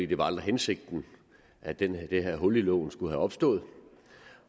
det var aldrig hensigten at det det her hul i loven skulle være opstået